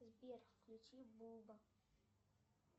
сбер включи буба